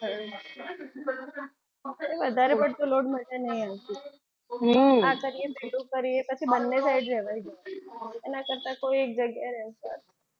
આપણે વધારે પડતો load મને નથી અનુકૂળ હમ આ કરીએ પેલું કરીએ પછી બંને side લેવાઈ જવાય એના કરતા કોઈ એક જગ્યાએ રહેવું સારું